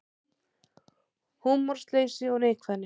Húmorsleysi og neikvæðni